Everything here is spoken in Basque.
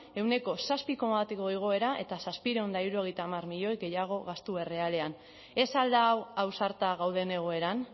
ehuneko zazpi koma bateko igoera eta zazpiehun eta hirurogeita hamar milioi gehiago gastu errealean ez al da hau ausarta gauden egoeran